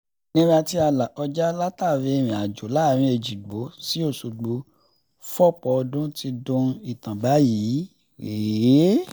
ìnira tí a là kọjá látàrí ìrìnàjò láàrin èjìgbò sí ọ̀ṣọ́gbó fọ́pọ̀ ọdún ti dohun ìtàn báyìí